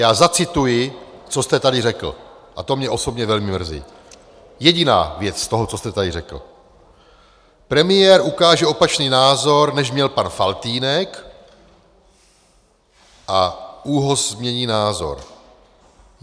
Já zacituji, co jste tady řekl, a to mě osobně velmi mrzí, jediná věc z toho, co jste tady řekl: Premiér ukáže opačný názor, než měl pan Faltýnek, a ÚOHS změní názor.